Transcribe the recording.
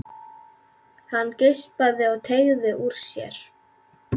Hann geispaði og teygði úr sér.